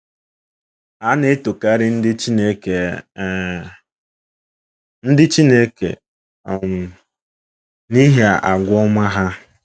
A na-etokarị ndị Chineke um ndị Chineke um n’ihi àgwà ọma ha.